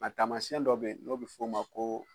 A tamasiɲɛn dɔw be yen, n'o be f'o ma ko